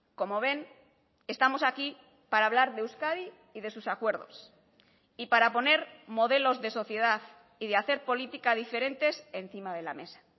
como ven estamos aquí para hablar de euskadi y de sus acuerdos y para poner modelos de sociedad y de hacer política diferentes encima de la mesa